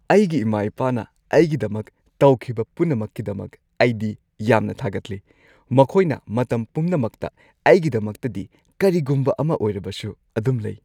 ꯑꯩꯒꯤ ꯏꯃꯥ-ꯏꯄꯥꯅ ꯑꯩꯒꯤꯗꯃꯛ ꯇꯧꯈꯤꯕ ꯄꯨꯝꯅꯃꯛꯀꯤꯗꯃꯛ ꯑꯩꯗꯤ ꯌꯥꯝꯅ ꯊꯥꯒꯠꯂꯤ꯫ ꯃꯈꯣꯏꯅ ꯃꯇꯝ ꯄꯨꯝꯅꯃꯛꯇ ꯑꯩꯒꯤꯗꯃꯛꯇꯗꯤ ꯀꯔꯤꯒꯨꯝꯕ ꯑꯃ ꯑꯣꯏꯔꯕꯁꯨ ꯑꯗꯨꯝ ꯂꯩ꯫